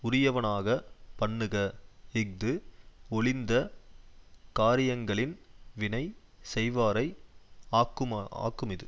உரியவனாக பண்ணுக இஃது ஒழிந்த காரியங்களின் வினை செய்வாரை ஆக்கும ஆக்குமிது